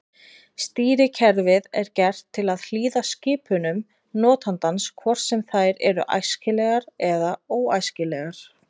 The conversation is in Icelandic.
Stýrikerfið er gert til að hlýða skipunum notandans hvort sem þær eru æskilegar eða óæskilegar.